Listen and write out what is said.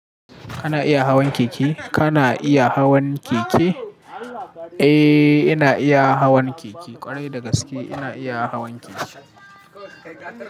Kana iya hawan keke? Kana iya hawan keke? Eh, ina iya hawan keke. Kwarai da gaske ina iya hawan keke.